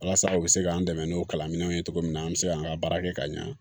Walasa u bɛ se k'an dɛmɛ n'o kalanw ye cogo min na an bɛ se k'an ka baara kɛ ka ɲɛ